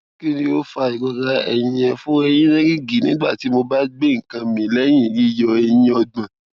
ki ni o fa irora ẹyin ẹ fọ eyin ẹ rigi nigbati mo ba gbe nkan mi lẹyin yiyọ eyin ogbon